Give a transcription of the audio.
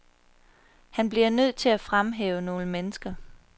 Han bliver nødt til at fremhæve nogle mennesker.